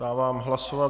Dávám hlasovat.